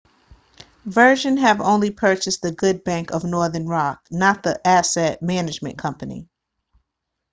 virgin have only purchased the good bank' of northern rock not the asset management company